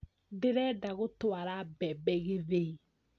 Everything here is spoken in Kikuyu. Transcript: Ndĩrenda gũtwara mbembe gĩthĩi